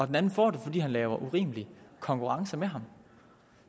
den anden får det fordi han laver urimelig konkurrence med ham